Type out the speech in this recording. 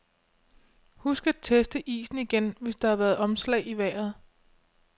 Husk at teste isen igen, hvis der har været omslag i vejret.